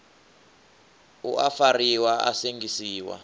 u a fariwa a sengisiwa